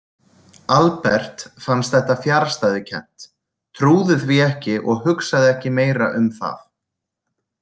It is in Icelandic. Albert fannst þetta fjarstæðukennt, trúði því ekki og hugsaði ekki meira um það.